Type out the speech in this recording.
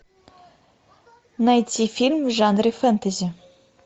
найти фильм в жанре фэнтези